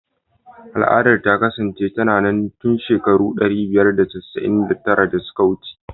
Al'adar ta kasance tana nan tun shekaru ɗari biyar da casa'in da tara da suka wuce.